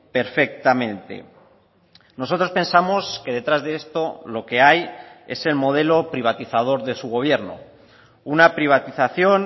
perfectamente nosotros pensamos que detrás de esto lo que hay es el modelo privatizador de su gobierno una privatización